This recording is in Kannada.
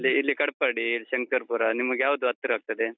ಇಲ್ಲಿ ಕಟ್ಪಾಡಿ, ಶಂಕರ್ಪುರ ನಿಮಗೆ ಯಾವುದು ಹತ್ತಿರ ಆಗ್ತದೆ.